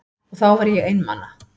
Og þá var ég einmana.